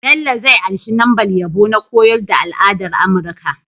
Bello zai anshi lambar yabo na koyar da al'adar amurka